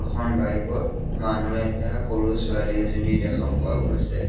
এখন বাইক ত মানুহ এটা সৰু ছোৱালী এজনী দেখা পোৱা গৈছে।